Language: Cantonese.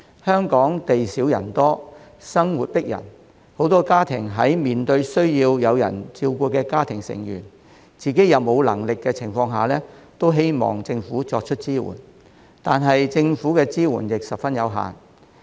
香港地少人多，生活迫人，許多家庭在面對需要有人照顧家中成員、而自己又無能力的情況下，都希望政府給予支援，但政府的支援卻十分有限。